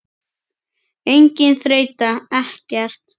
Engin þreyta, ekkert.